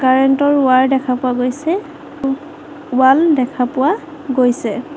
Current ৰ wire দেখা পোৱা গৈছে উহ ৱাল দেখা পোৱা গৈছে।